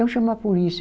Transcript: Então chama a polícia.